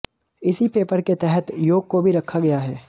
इसी पेपर के तहत योग को भी रखा गया है